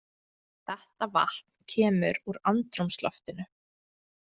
Þetta vatn kemur úr andrúmsloftinu.